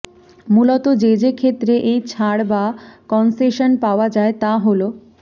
মূলত যে যে ক্ষেত্রে এই ছাড় বা কনসেশন পাওয়া যায় তা হল